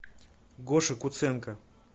гоша куценко